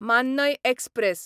मान्नय express